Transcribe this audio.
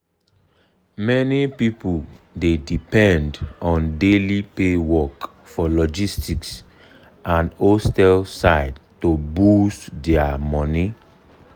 many people dey depend on daily pay work for logistic and hostel side to boost their their money.